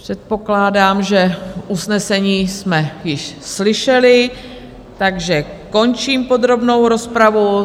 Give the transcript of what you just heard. Předpokládám, že usnesení jsme již slyšeli, takže končím podrobnou rozpravu.